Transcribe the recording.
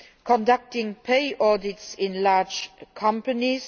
conducting pay audits in large companies